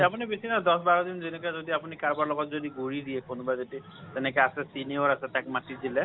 আপুনি বেছি নহয় দচ বাৰ দিন যেনেকে যদি আপুনি কাৰোবাৰ লগত যদি ঘূৰি দিয়ে কোনোবা যদি তেনেকে আছে senior আছে তাক মাতি দিলে।